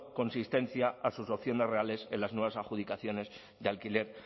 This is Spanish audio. consistencia a sus opciones reales en las nuevas adjudicaciones de alquiler